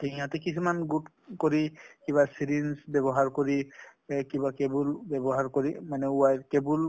টো সিহঁতে কিছুমান good কৰি কিবা syringe ব্যৱহাৰ কৰি , এ কিবা cable ব্যৱহাৰ কৰি মানে wire cable